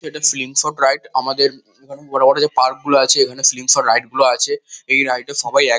এটা slingshot ride. আমাদের এখানে বড়ো বড়ো যে পার্ক গুলো আছে এখানে স্লিং শট রাইড গুলো আছে । এই রাইড এ সবাই এক--